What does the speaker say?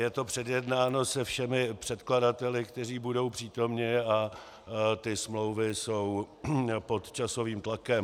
Je to předjednáno se všemi předkladateli, kteří budou přítomni, a ty smlouvy jsou pod časovým tlakem.